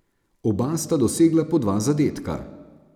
Oba sta dosegla po dva zadetka.